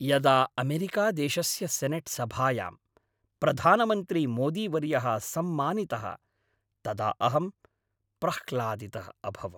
यदा अमेरिकादेशस्य सेनेट् सभायां प्रधानमन्त्री मोदीवर्यः सम्मानितः तदा अहं प्रह्लादितः अभवम्।